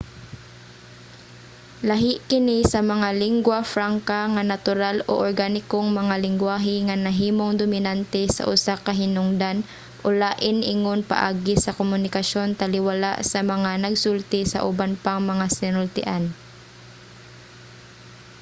lahi kini sa mga lingua franca nga natural o organikong mga lenggwahe nga nahimong dominante sa usa ka hinungdan o lain ingon paagi sa komunikasyon taliwala sa mga nagsulti sa uban pang mga sinultian